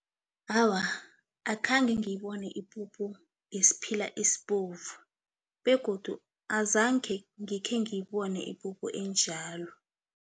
Awa, akhange ngibone ipuphu yesiphila esibovu begodu azange ngikhe ngiyibona ipuphu enjalo.